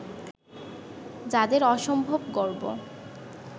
যাঁদের অসম্ভব গর্ব